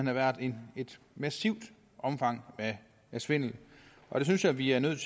har været et massivt omfang af svindel og jeg synes at vi er nødt